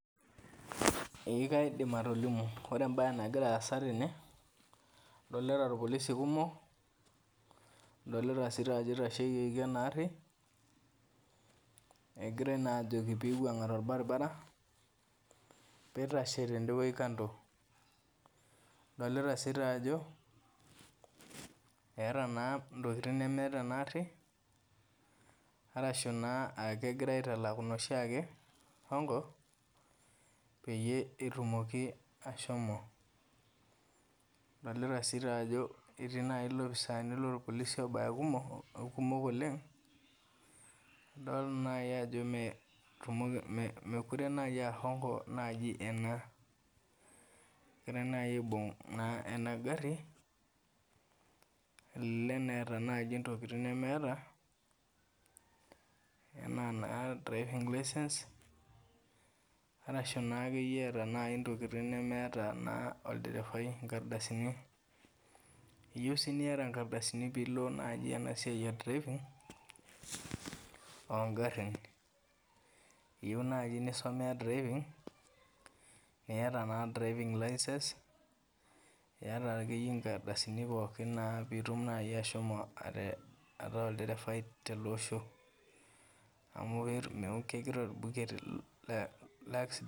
Eeh kaidim atolimu. Ore embaye nagiraasa tene adolita irpolisi kumok, adolita doi sii taajo eitasheyieki enaarri egirai naajoki peiwuang'a tolbaribara peitashe tende wuei  kando. Adolita sii taajo eeta naa intokitin nemeeta enaarri arashu naa aakegira aitalaku noshiake hongo peyie etumoki ashomo. Adolita sii taajo etii nai ilopisani lolpolisi obaya kumok, kumok oleng' idol nayi ajo metumoki mekure nayi aahongo naji ena, egirai nayi aibung' naa enagarri elelek neeta naji intokitin nemeeta enaa naa driving license arashu naakeyie eata nayi intokitin nemeata naa olderefai, inkardasini. Eyou sii niata inkardasini piilo naji enasiai e  driving oongarrin. Eyou naji nisomea driving piiata driving license iata akeiye inkardasini pookin naa pitum nayi ashomo atee ataa olderefai teleosho amu kegira olbuket le leaksident,